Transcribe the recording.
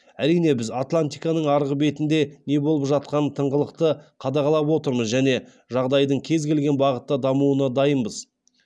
әрине біз атлантиканың арғы бетінде не болып жатқанын тыңғылықты қадағалап отырмыз және жағдайдың кез келген бағытта дамуына дайынбыз